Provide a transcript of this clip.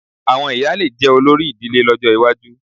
Àwọn ìyá lè jẹ́ olórí ìdílé lọ́jọ́ iwájú